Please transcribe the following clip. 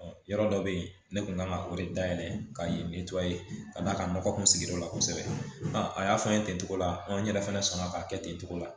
Yɔrɔ dɔ bɛ yen ne kun kan ka o de da yɛlɛ ka yen ka d'a ka nɔgɔ kun sigiyɔrɔ la kosɛbɛ a y'a fɔ an ye ten cogo la n yɛrɛ fana sɔnna k'a kɛ ten togo la